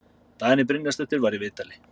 Dagný Brynjarsdóttir var í viðtali.